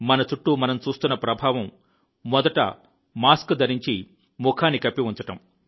మన చుట్టూ మనం చూస్తున్న ప్రభావం మొదట మాస్క్ ధరించి ముఖాన్ని కప్పి ఉంచడం